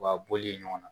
Wa bɔli ɲɔgɔn na